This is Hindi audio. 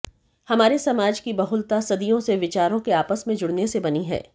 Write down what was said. हमारे समाज की बहुलता सदियों से विचारों के आपस में जुड़ने से बनी है